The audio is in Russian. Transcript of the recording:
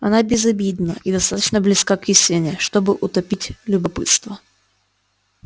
она безобидна и достаточно близка к истине чтобы утопить любопытство